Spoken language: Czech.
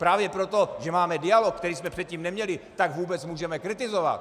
Právě proto, že máme dialog, který jsme předtím neměli, tak vůbec můžeme kritizovat.